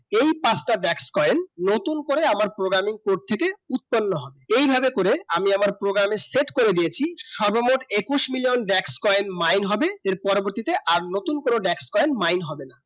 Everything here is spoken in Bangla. এই পাঁচতা black coin নতুন করে আমার programming code থেকে উৎপন্ন হয় এই ভাবে করে আমি আমার programming set করে দিয়েছি সর্বমোট একুশ মিলিয়ন Black coin মাইন হবে এই পরবতীতে আর নতুন করে black coin মাইন হবে না